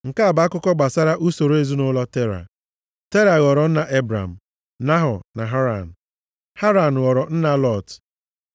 Nke a bụ akụkọ gbasara usoro ezinaụlọ Tera. Tera ghọrọ nna Ebram, Nahọ na Haran. Haran ghọrọ nna Lọt.